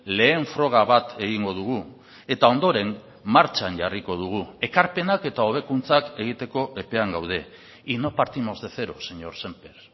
lehen froga bat egingo dugu eta ondoren martxan jarriko dugu ekarpenak eta hobekuntzak egiteko epean gaude y no partimos de cero señor sémper